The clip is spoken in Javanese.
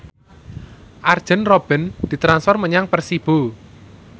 Arjen Robben ditransfer menyang Persibo